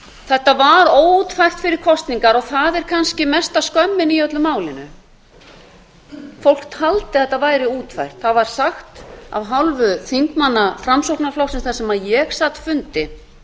eða var óútfært fyrir kosningar og það er kannski mesta skömmin í öllu málinu fólk taldi að þetta væri útfært það var sagt af hálfu þingmanna framsóknarflokksins þar sem ég sagt fundi